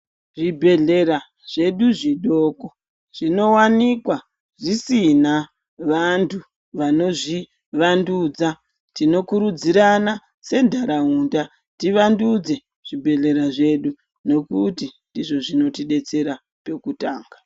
Zvibhedhlera zvedu zvidoko, zvinowanikwa zvisina vanthu vano zvivandudza. Tikokurudzirana, sentharaunda tivandudze zvebhedhlera zvedu, nekuti ndizvo zvinotidzetsera pekutanga.